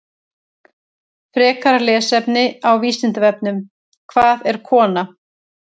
Frekara lesefni á Vísindavefnum: Hvað er kona?